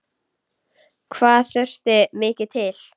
Hvað þurfti mikið til?